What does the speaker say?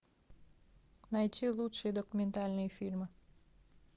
найти лучшие документальные фильмы